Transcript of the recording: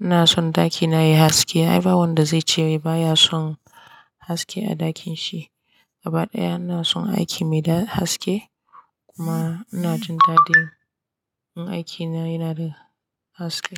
ina son ɗakina yayi haske. Ai ba wanda zai ce baya son haske a ɗakin shi. Gaba ɗaya ina son aiki mai dan haske kuma ina jin daɗin in aiki na yana da haske.